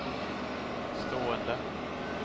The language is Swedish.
stående